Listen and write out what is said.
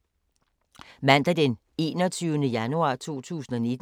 Mandag d. 21. januar 2019